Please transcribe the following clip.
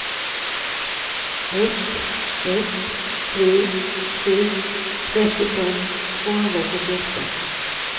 ett ett tre sju trettiofem tvåhundrasjuttioåtta